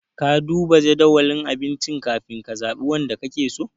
Ka duba jadawalin abincin ka fin ka zaɓi wanda ka ke so?